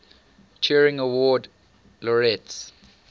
turing award laureates